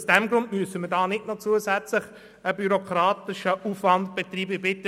Aus diesem Grund müssen wir nicht noch zusätzlichen bürokratischen Aufwand betreiben.